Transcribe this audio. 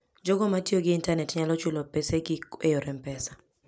Jogo ma tiyo gi intanet nyalo chulo pesegi e yor M-Pesa.